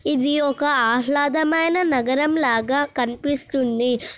ఇది ఒక ఆహ్లాదమైన నగరం లాగా కనిపిస్తుంది .